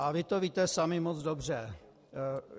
A vy to víte sami moc dobře.